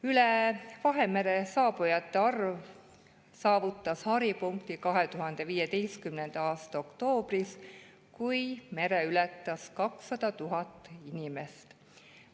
Üle Vahemere saabujate arv saavutas haripunkti 2015. aasta oktoobris, kui mere ületas 200 000 inimest.